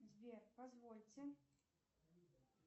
сбер позвольте